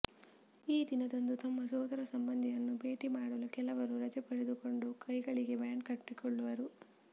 ಈ ದಿನದಂದು ತಮ್ಮ ಸೋದರ ಸಂಬಂಧಿಯನ್ನು ಭೇಟಿ ಮಾಡಲು ಕೆಲವರು ರಜೆ ಪಡೆದುಕೊಂಡು ಕೈಗಳಿಗೆ ಬ್ಯಾಂಡ್ ಕಟ್ಟಿಕೊಳ್ಳುವರು